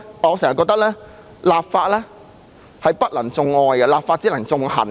我一直覺得立法不能種愛，只能夠種恨。